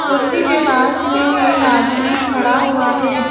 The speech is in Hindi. कुर्सी के पास में एक आदमी खड़ा हुआ है।